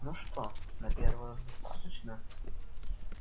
ну что на первый раз достаточно